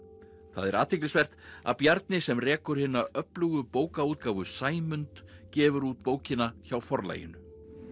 það er athyglisvert að Bjarni sem rekur hina öflugu bókaútgáfu Sæmund gefur út bókina hjá Forlaginu